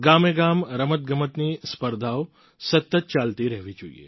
ગામેગામ રમતગમતની સ્પર્ધાઓ સતત ચાલતી રહેવી જોઈએ